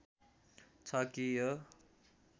छ कि यो